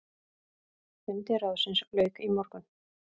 Fundi ráðsins lauk í morgun.